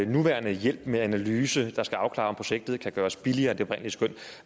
nuværende hjælp med en analyse der skal afklare om projektet kan gøres billigere end det oprindelige skøn